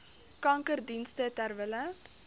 kankerdienste ter wille